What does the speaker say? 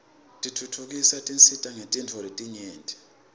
tentfutfuko tisisita ngetinifo letnyenti